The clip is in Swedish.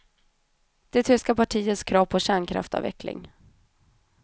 Det tyska partiets krav på kärnkraftavveckling.